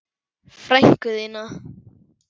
Frænku þína?